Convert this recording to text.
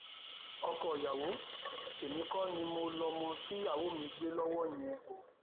ọkọọyàwó èmi kọ ni mo lọmọ tíyàwó mi gbé lọwọ yẹn o